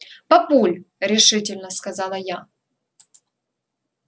папуль решительно сказала я